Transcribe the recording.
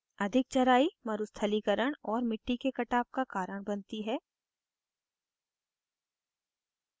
अधिक चराई मरुस्थलीकरण और मिटटी के कटाव का कारण बनती है